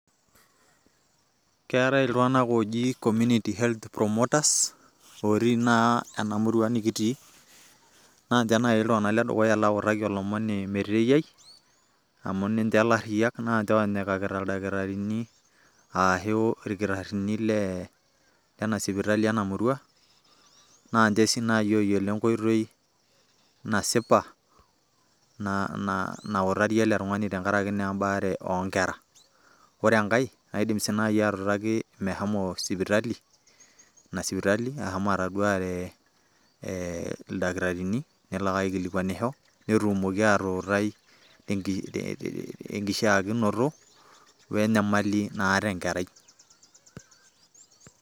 keetae iltung'anak ooji community health promoters, otii naa ena murua nikitii, naa ninche naaji iltungana ledukuya lautaki olomoni meteyiai, naa nnche oonyikita ildakitarini, ashu ilkitarini lena sipitali ena murua, naa ninche sii naaji ooyiolo enkoitoi, nasipa nautarie ele tungani tenkarki naa ebaare, oonkera, ore enake kaidim sii naaji atuutaki mehomo sipitali, ina sipitali ashomo ataoduare ildkitarini nelo aikilikunanisho, netumoki atuutai tenkishaakinoto we nyamali naata enkerai.